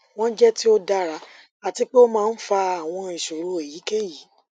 wọn jẹ ti o dara ati pe o maa n fa awọn iṣoro eyikeyi